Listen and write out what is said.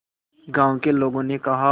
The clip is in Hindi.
गांव के लोगों ने कहा